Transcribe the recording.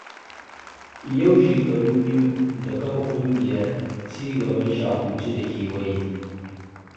Yau shekaru biyu da kafa ƙungiyar cigaban Shahuci da kewaye.